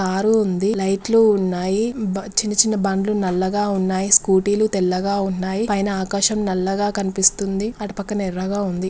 Car ఉంది. లైట్లు ఉన్నాయి బ చిన్న చిన్న బండ్లు నల్లగా ఉన్నాయిస్కూటీ లు తెల్లగా ఉన్నాయి పైన ఆకాశం నల్లగా కనిపిస్తుంది అటు పక్కన ఎర్రగా ఉంది.